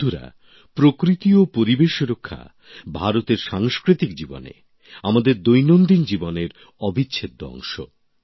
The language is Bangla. বন্ধুরা প্রকৃতি ও পরিবেশের রক্ষা ভারতের সাংস্কৃতিক জীবনে আমাদের দৈনন্দিন জীবনের অবিচ্ছেদ্য অংশ